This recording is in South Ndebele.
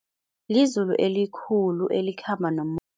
Lizulu elikhulu elikhamba nomoya.